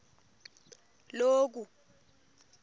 loku